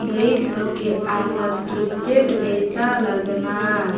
गईद बग्गे आलर किरकेट बेचा लगनार --